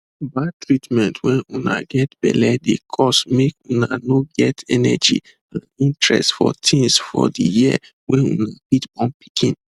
bad treatment wen una get belle dey cause make una no get energy and interest for tins for di year wey una fit born pikin